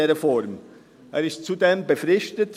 Er ist zudem bis Ende 2023 befristet.